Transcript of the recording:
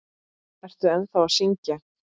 Ertu ennþá að syngja?